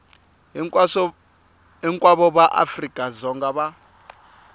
hinkwavo va afrika dzonga va